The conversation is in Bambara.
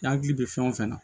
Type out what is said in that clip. I hakili bɛ fɛn o fɛn na